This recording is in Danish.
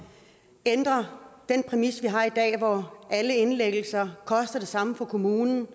ændrer den præmis vi har i dag om alle indlæggelser koster det samme for kommunen